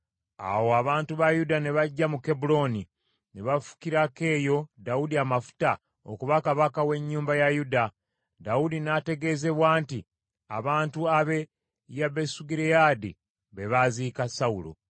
Awo abantu ba Yuda ne bajja mu Kebbulooni, ne bafukirako eyo Dawudi amafuta okuba kabaka w’ennyumba ya Yuda. Dawudi n’ategeezebwa nti abantu ab’e Yabesugireyaadi be baaziika Sawulo,